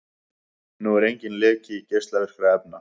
Nú er enginn leki geislavirkra efna